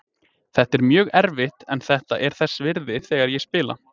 Þetta er mjög erfitt en þetta er þess virði þegar ég spila.